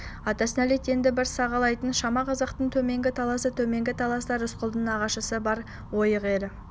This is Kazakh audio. атасына нәлет енді бір сағалайтын шама қазақтың төменгі таласы төменгі таласта рысқұлдың нағашысы бар ойық елі